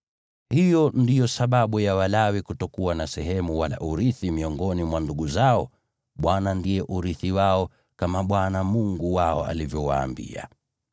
Hiyo ndiyo sababu ya Walawi kutokuwa na sehemu wala urithi miongoni mwa ndugu zao; Bwana ndiye urithi wao, kama Bwana Mungu wao alivyowaambia.)